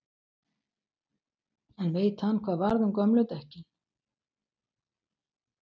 En veit hann hvað varð um gömlu dekkin?